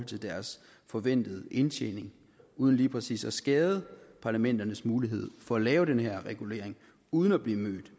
til deres forventede indtjening uden lige præcis at skade parlamenternes mulighed for at lave den her regulering uden at blive mødt